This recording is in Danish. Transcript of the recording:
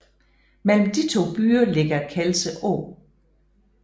Mellem de to byer ligger Kelse Å